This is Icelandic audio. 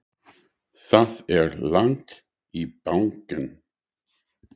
Það er langt í bankann!